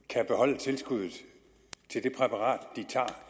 kan beholde tilskuddet til det præparat de tager